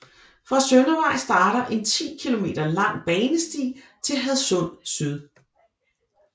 Fra Søndervej starter en 10 km lang banesti til Hadsund Syd